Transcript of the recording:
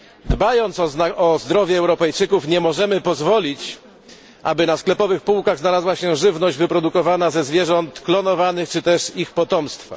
Dbając o zdrowie Europejczyków, nie możemy pozwolić, aby na sklepowych półkach znalazła się żywność wyprodukowana ze zwierząt klonowanych czy też ich potomstwa.